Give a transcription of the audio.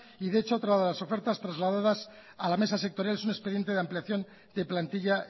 y de hecho otra de las ofertas trasladadas a la mesa sectorial es un expediente de ampliación de plantilla